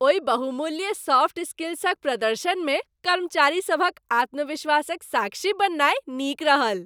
ओहि बहुमूल्य सॉफ्ट स्किल्सक प्रदर्शनमे कर्मचारीसभक आत्मविश्वासक साक्षी बननाय नीक रहल।